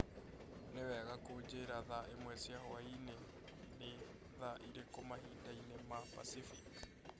Nĩ wega kũnjĩra thaa ĩmwe cia hwaĩ-inĩ nĩ thaa ĩrĩkũ mahinda-inĩ ma Pacific